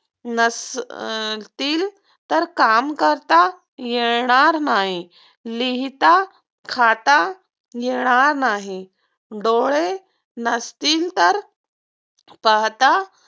नसतील तर काम करता येणार नाही, लिहिता, खाता येणार नाही. डोळे नसतील तर पाहता